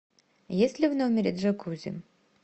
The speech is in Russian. есть ли в номере джакузи